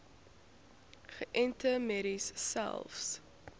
geënte merries selfs